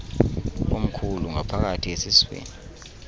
omkhulu ngaphakathi esiswini